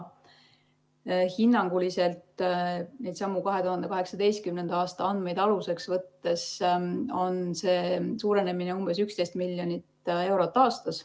Hinnanguliselt on neidsamu 2018. aasta andmeid aluseks võttes see suurenemine umbes 11 miljonit eurot aastas.